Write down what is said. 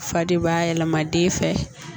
Fa de b'a yɛlɛma den fɛ